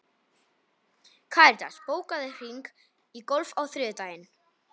Karitas, bókaðu hring í golf á þriðjudaginn.